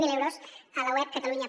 zero euros a la web catalunya